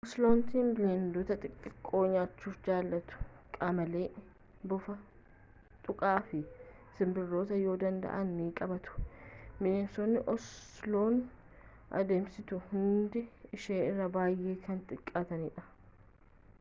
oselootni bineeldota xixqqoo nyaachuu jaalatu qamalee bofa xuqaa fi sinbirroota yoo danda'an ni qabatu bineensonni osoluun adamsitu hundi ishee irra baay'ee kan xiqqaatanidha